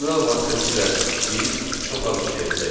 Terminal vasitəsilə biz çox az işləyəcəyik.